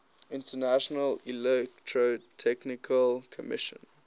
international electrotechnical commission